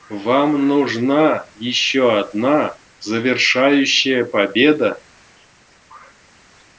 вам нужна ещё одна завершающая победа